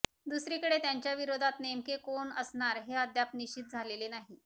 दुसरीकडे त्यांच्या विरोधात नेमके कोण असणार हे अद्याप निश्चित झालेले नाही